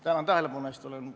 Tänan tähelepanu eest!